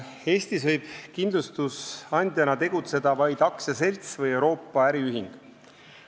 Eestis võib kindlustusandjana tegutseda vaid aktsiaselts või Euroopa äriühing.